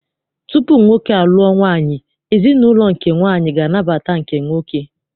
Tupu nwoke a lụọ nwaanyị, ezinaụlọ nke nwaanyị ga anabata nke nwoke.